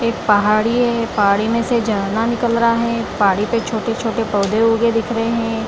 एक पहाड़ी है पहाड़ी मे से झरना निकल रहा है पहाड़ी पे से छोटे-छोटे पौधे उगे दिख रहे है।